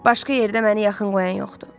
Başqa yerdə məni yaxın qoyan yoxdur.